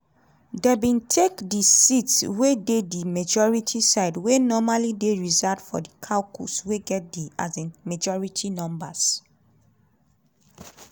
dem bin take di seats wey dey di majority side wey normally dey reserved for di caucus wey get di um majority numbers.